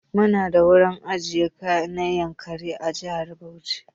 Mu na da wurin ajiya na Yankari a jihar Bauchi.